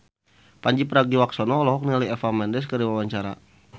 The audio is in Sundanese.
Pandji Pragiwaksono olohok ningali Eva Mendes keur diwawancara